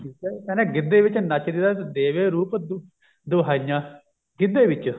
ਠੀਕ ਏ ਕਹਿੰਦਾ ਗਿੱਧੇ ਵਿੱਚ ਨੱਚਦੀ ਦਾ ਦੇਵੇ ਰੂਪ ਦੁਹਾਹੀਆਂ ਗਿੱਧੇ ਵਿਚ